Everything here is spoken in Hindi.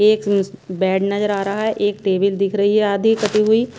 एक मूस बेड नजर आ रहा हैं एक टेबल दिख रही हैं आधी कटी हुई।